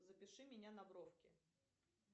запиши меня на бровки